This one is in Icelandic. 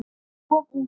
Of ungur.